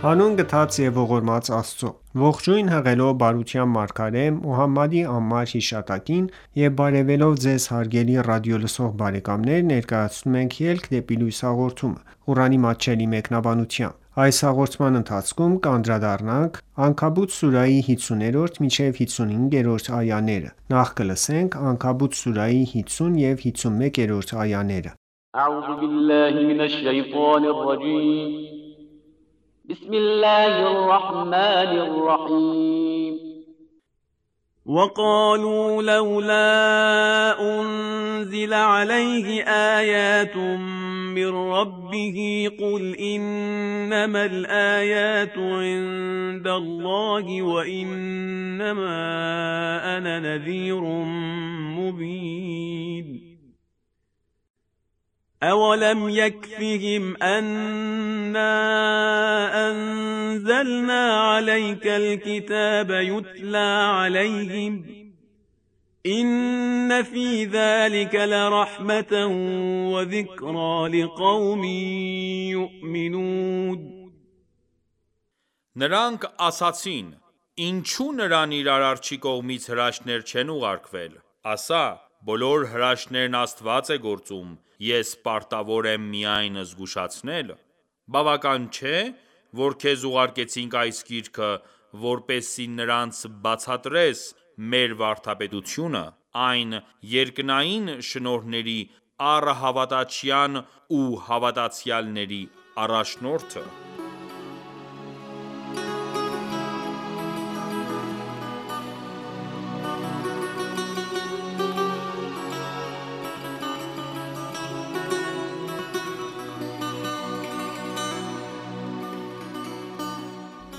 Հանուն գթած և ողորմած Աստծո:Ողջույն հղելով բարության մարգարե Մոհամմադի անմար հիշատակին եւ բարեւելով Ձեզ հարգելի ռադիոլսող բարեկամներ, ներկայացնում ենք «Ելք դեպի լույս» հաղորդումը, Ղուրանի մատչելի մեկնաբանությամբ: Անքաբութ սուրահի 50 և 51-րդ այաներ (Նրանք) ասացին. «Ինչո՞ւ նրան իր Արարչի կողմից հրաշքներ չեն ուղարկվել»: Ասա. «Բոլոր հրաշքներն Աստված է գործում: Ես պարտավոր եմ միայն զգուշացնել»: Բավական չէ՞, որ քեզ ուղարկեցինք այս Գիրքը, որպեսզի նրանց բացատրես (մեր վարդապետությունը): Այն (երկնային) շնորհների առհավատչյան է ու հավատացյալների առաջնորդը: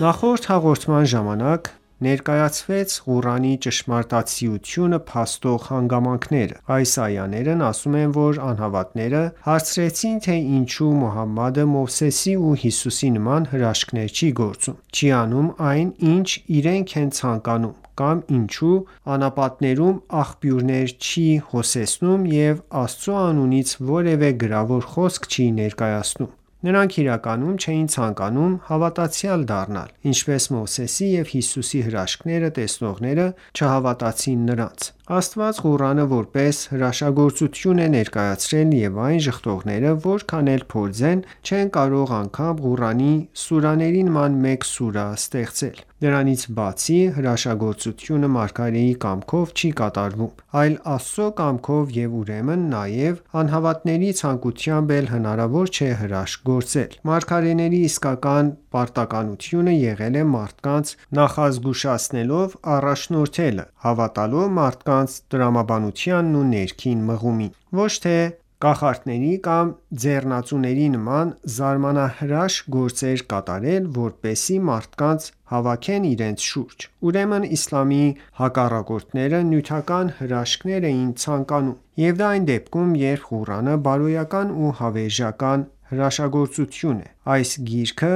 Նախորդ հաղորդման ժամանակ ներկայացվեցին Ղուրանի ճշմարտացիությունը փաստող հանգամանքները: Այս այաներն ասում են, որ անհավատաները հարցրեցին, թե ինչու Մուհամմադը Մովսեսի ու Հիսուսի նման հրաշքներ չի գործում, չի անում այն ինչ իրենք են ցանկանում, կամ ինչու անապատներում աղբյուրներ չի հոսեցնում և Աստծու անունից որևէ գրավոր խոսք չի ներկայացնում: Նրանք իրականում չէին ցանկանում հավատացյալ դառնալ, ինչպես Մովսեսի ու Հիսուսի հրաշքները տեսնողները չհավատացին նրանց: Աստված Ղուրանը որպես հրաշագործություն է ներկայացրել և այն ժխտողները որքան էլ փորձեն, չեն կարող անգամ Ղուրանի սուրահների նման մեկ սուրահ ստեղծել: Դրանից բացի, հրաշագործությունը մարգարեի կամքով չի կատարվում, այլ Աստծու կամքով և ուրեմն նաև անհավատների ցանկությամբ էլ հնարավոր չէ հրաշք գործել: Մարգարեների իսկական պարտականությունը եղել է մարդկանց նախազգուշացնելով առաջնորդելը, հավատալով մարդկանց տրամաբանությանն ու ներքին մղումին, ոչ թե կախարդների կամ ձեռնածուների նման զարմանահրաշ գործեր կատարել, որպեսզի մարդկանց հավաքեն իրենց շուրջը: Ուրեմն իսլամի հակառակորդները նյութական հրաշքներ էին ցանկանում: Եվ դա այն դեպքում, երբ Ղուրանը բարոյական ու հավերաժական հրաշագործություն է: Այս գիրքը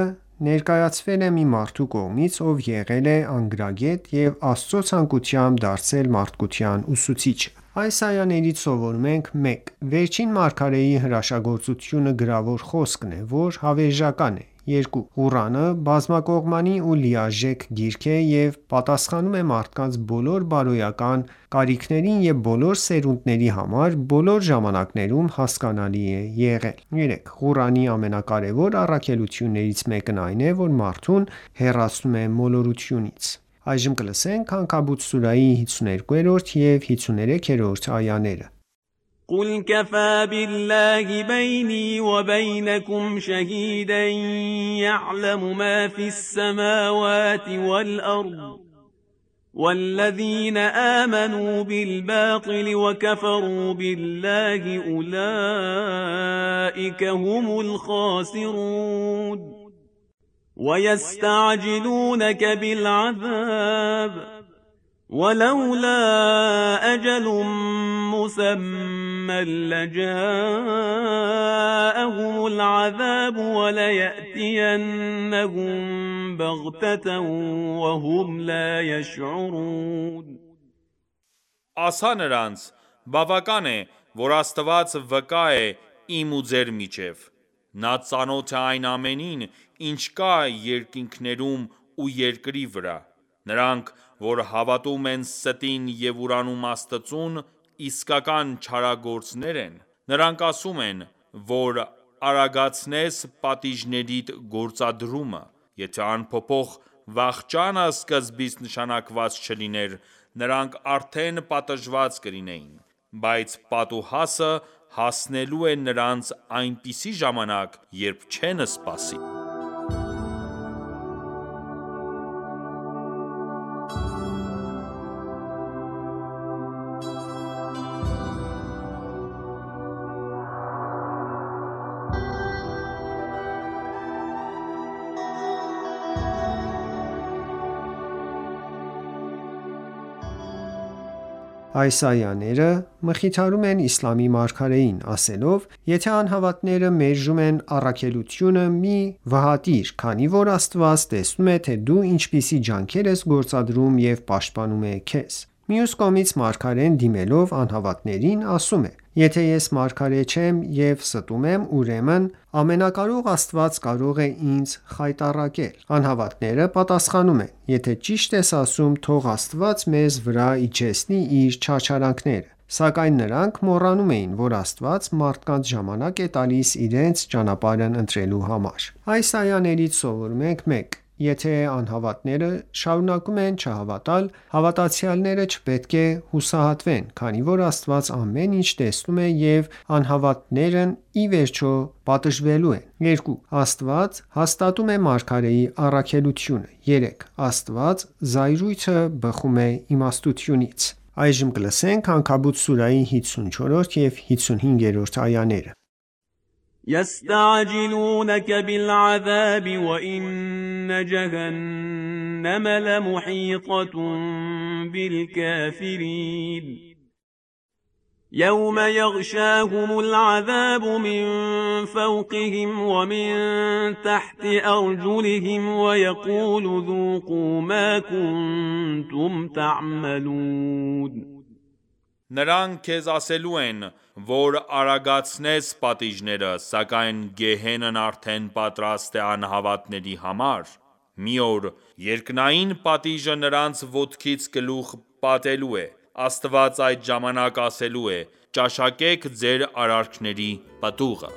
ներկայացվել է մի մարդու կողմից, ով եղել է անգրագետ և Աստծու ցանկությամբ դարձել մարդկության ուսուցիչը: Այս այաներից սովորում ենք. 1. Վերջին մարգարեի հրաշագործությունը գրավոր խոսքն է, որ հավերժական է: 2. Ղուրանը բազմակողմանի ու լիարժեք գիրք է և պատասխանում է մարդկանց բոլոր բարոյական կարիքներին և բոլոր սերունդների համար, բոլոր ժամանակներում հասկանալի է եղել: 3 .Ղուրանի ամենակարևոր առաքելություններից մեկն այն է, որ մարդուն հեռացնում է մոլորությունից: Անքաբութ սուրահի 52 և 53-րդ այաներ Ասա նրանց. «Բավական է, որ Աստված վկա է իմ ու ձեր միջև: Նա ծանոթ է այն ամենին, ինչ կա երկինքներում ու երկրի վրա: Նրանք, որ հավատում են ստին և ուրանում Աստծուն, իսկական չարագործներ են»: Նրանք ասում են, որ արագացնես պատիժներիդ գործադրումը: Եթե անփոփոխ վախճանը սկզբից նշանակված չլիներ, նրանք արդեն պատժված կլինեին: Բայց պատուհասը հասնելու է նրանց այնպիսի ժամանակ, երբ չեն սպասի: Այս այաները մխիթարում են իսլամի մարգարեին, ասելով. «Եթե անհավատները մերժում են առաքելությունը, մի վհատվիր, քանի որ Աստված տեսնում է, թե դու ինչպիսի ջանքեր ես գործադրում և պաշտպանում է քեզ»: Մյուս կողմից, մարգարեն, դիմելով անհավատներին, ասում է. «Եթե ես մարգարե չեմ և ստում եմ, ուրեմն ամենակարող Աստված կարող է ինձ խայտառակել»: Անհավատները պատասխանում են. «Եթե ճիշտ ես ասում, թող Աստված մեզ վրա իջեցնի իր չարչարանքները»: Սակայն նրանք մոռանում էին, որ Աստված մարդկանց ժամանակ է տալիս իրենց ճանապարհն ընտրելու համար: Այս այաներից սովորում ենք. 1. Եթե անհավատները շարունակում են չհավատալ, հավատացյալները չպետք է հուսահատվեն, քանի որ Աստված ամեն ինչ տեսնում է և անհավատներն ի վերջո պատժվելու են: 2. Աստված հաստատում է մարգարեի առաքելությունը: 3. Աստվածային զայրույթը բխում է իմաստությունից: Անքաբութ սուրահի 54 և 55-րդ այաներ یَسْتَعْجِلُونَکَ بِالْعَذَابِ وَإِنَّ جَهَنَّمَ لَمُحِیطَةٌ بِالْکَافِرِینَ Նրանք քեզ ասելու են, որ արագացնես պատիժները, սակայն գեհենն արդեն պատրաստ է անհավատների համար: Մի օր (երկնային) պատիժը նրանց ոտքից գլուխ պատելու է: Աստված այդ ժամանակ ասելու է՝ ճաշակեք ձեր արարքների պտուղը: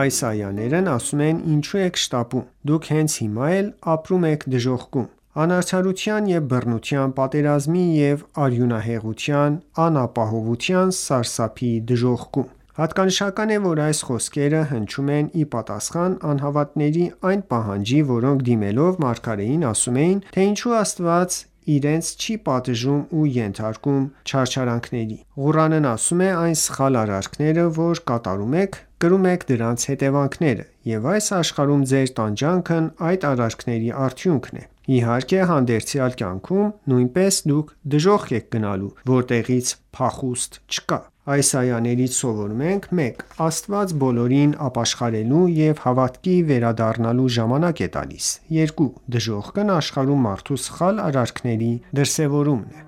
Այս այաներն ասում են. «Ինչո՞ւ եք շտապում: Դուք հենց հիմա էլ ապրում եք դժոխքում: Անարդարության ու բռնության, պատերազմի ու արյունահեղության, անապահովության, սարսափի դժոխքում»: Հատկանշական է, որ այս խոսքեը հնչում են ի պատասխան անհավատների այն պահանջի, որոնք դիմելով մարգարեին ասում էին, թե ինչու Աստված իրենց չի պատժում ու ենթարկում չարչարանքների: Ղուրանն ասում է. «Այն սխալ արարքները որ կատարում եք, կրում եք դրանց հետևանքները: Եվ այս աշխարհում ձեր տանջանքն այդ արարքների արդյունքն է: Իհարկե, հանդերձյալ կյանքում նույնպես դուք դժոխք եք գնալու, որտեղից փախուստ չկա»: Այս այաներից սովորում ենք. 1. Աստված բոլորին ապաշխարելու և հավատքի վերադառնալու ժամանակ է տալիս: 2. Դխոժքն աշխարհում մարդու սխալ արարքների դրսևորումն է: